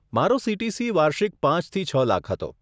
મારો સીટીસી વાર્ષિક પાંચ થી છ લાખ હતો.